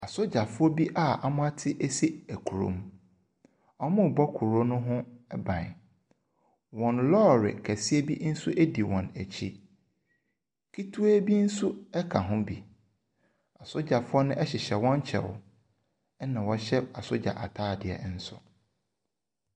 Asogyafoɔ bi a wɔate asi kuro mu. Wɔrebɔ kuro ne ho ban. Wɔn lɔɔre kɛseɛ bi nso di wɔn akyi. Ketewa bi nso ka ho bi. Asogyafoɔ no hyehyɛ wɔn kyɛw na wɔhyehyɛ asogya ataadeɛ nso.